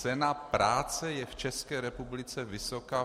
Cena práce je v České republice vysoká?